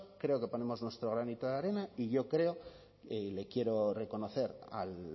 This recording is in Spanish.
creo que ponemos nuestro granito de arena y yo creo y le quiero reconocer al